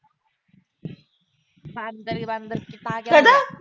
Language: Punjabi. ਬਾਂਦਰ ਅਹ ਬਾਂਦਰ